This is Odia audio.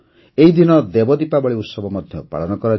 ଏହି ଦିନ ଦେବ ଦୀପାବଳୀ ମଧ୍ୟ ପାଳନ କରାଯାଏ